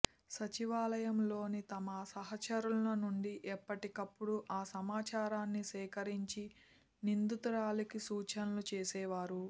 సచివాలయంలోని తన సహచరుల నుంచి ఎప్పటికప్పుడు ఆ సమాచారాన్ని సేకరించి నిందితురాలికి సూచనలు చేసేవారు